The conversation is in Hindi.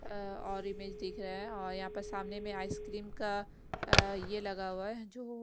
अ और इमेज दिख रहा है और यहाँ पर सामने में आइसक्रीम का ये लगा हुआ है जो --